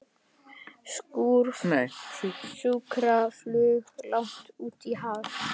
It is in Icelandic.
Sjúkraflug langt út í haf